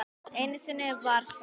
Einu sinni var það